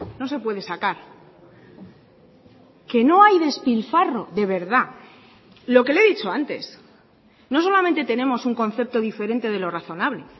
no se puede sacar qué no hay despilfarro de verdad lo que le he dicho antes no solamente tenemos un concepto diferente de lo razonable